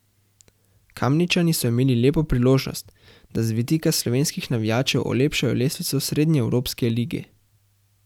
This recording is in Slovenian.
Kamničani so imeli lepo priložnost, da z vidika slovenskih navijačev olepšajo lestvico srednjeevropske lige.